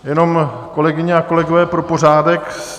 Jenom, kolegyně a kolegové, pro pořádek.